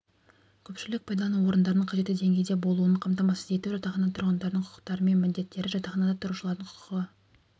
көпшілік пайдалану орындарының қажетті деңгейде болуын қамтамасыз ету жатақхана тұрғындарының құқықтары мен міндеттері жатақханада тұрушылардың құқығы